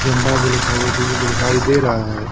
झंडा भी लिखा हुआ दिखाई दे रहा है।